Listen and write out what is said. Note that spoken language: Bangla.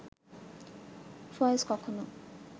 ফয়েজ কখনো